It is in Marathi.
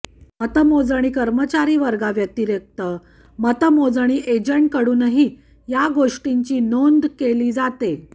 मतमोजणी कर्मचारी वर्गाव्यतिरिक्त मतमोजणी एजंटांकडूनही या गोष्टींची नोंद केली जाते